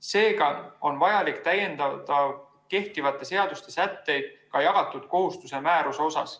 Seega on vajalik täiendada kehtivate seaduste sätteid ka jagatud kohustuse määruse osas.